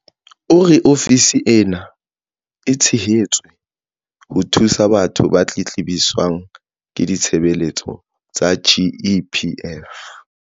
O re ofisi ena e thehetswe ho thusa batho ba tletlebiswang ke ditshebeletso tsa GEPF.